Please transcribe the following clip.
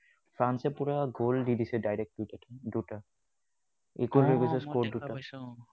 ফ্ৰান্সে পুৰা goal দি দিছে direct দুটা।